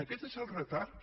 aquest és el retard